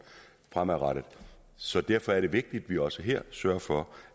fremover så derfor er det vigtigt vi også her sørger for